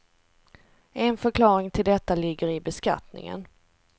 En förklaring till detta ligger i beskattningen.